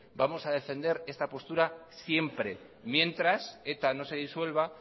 vamos a defender esta postura siempre mientras eta no se disuelva